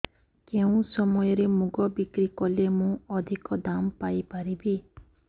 କେଉଁ ସମୟରେ ମୁଗ ବିକ୍ରି କଲେ ମୁଁ ଅଧିକ ଦାମ୍ ପାଇ ପାରିବି